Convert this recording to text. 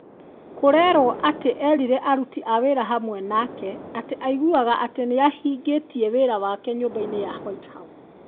Kũrerwo atĩ erire aruti a wira hamwe nake, atĩ aiguaga atĩ nĩ ahingĩtie wĩra wake nyũmba-inĩ ya White House.